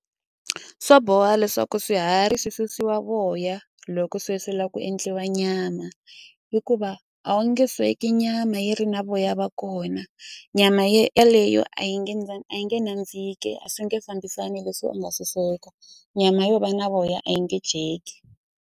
Swa boha leswaku swiharhi swi susiwa voya loko se swi la ku endliwa nyama hikuva a wu nge sweki nyama yi ri na voya va kona nyama yaleyo a yi nge a yi nge nandziki a swi nge fambisani leswi u nga swi sweka nyama yo va na voya a yi nge dyeki.